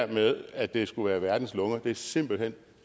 med at det skulle være verdens lunger er simpelt hen